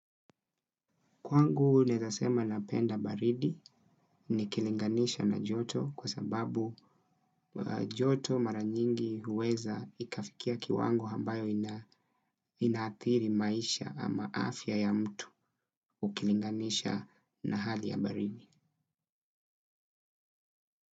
Kwangu naezasema napenda baridi nikilinganisha na joto kwa sababu joto maranyingi huweza ikafikia kiwango ambayo inaathiri maisha ama afya ya mtu ukilinganisha na hali ya baridi.